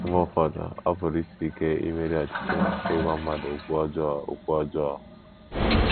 Mgbe ụfọdụ, ọ pụrụ isi ike imeri ọchịchọ ịgwa mmadụ okwu ọjọọ. okwu ọjọọ.